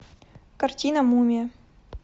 картина мумия